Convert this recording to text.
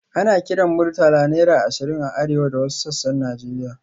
Ana kiran Murtala naira ashirin a arewa da wasu sassan Najeriya.